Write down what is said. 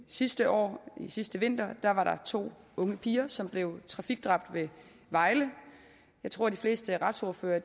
sidste år sidste vinter var der to unge piger som blev trafikdræbt ved vejle jeg tror at de fleste retsordførere